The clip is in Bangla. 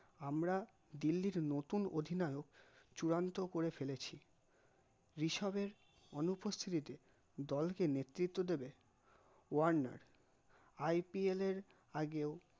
আমরা দিল্লির নতুন অধিনায়ক চূড়ান্ত করে ফেলেছি ঋষপের অনুপ্রস্তুতিতে দলকে নেতৃত্ব দেবে ওয়ার্নার IPL র আগেও